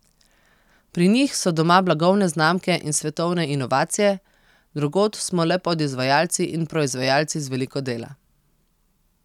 Pri njih so doma blagovne znamke in svetovne inovacije, drugod smo le podizvajalci in proizvajalci z veliko dela.